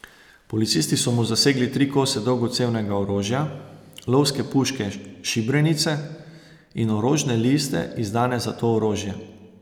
Policisti so mu zasegli tri kose dolgocevnega orožja, lovske puške šibrenice, in orožne liste izdane za to orožje.